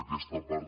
aquesta part